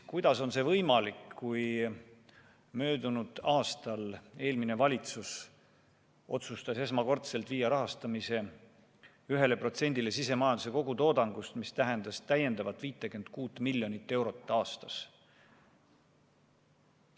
Kuidas on see võimalik, kui möödunud aastal eelmine valitsus otsustas esmakordselt viia rahastamise 1%‑ni sisemajanduse kogutoodangust, mis tähendas täiendavalt 56 miljonit eurot aastas?